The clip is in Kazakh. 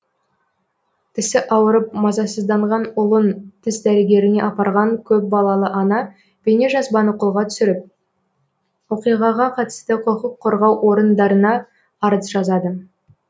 тісі ауырып мазасызданған ұлын тіс дәрігеріне апарған көп балалы ана бейнежазбаны қолға түсіріп оқиғаға қатысты құқыққорғау орындарына арыз жазады